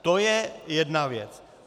To je jedna věc.